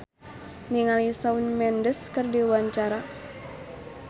Yayan Jatnika olohok ningali Shawn Mendes keur diwawancara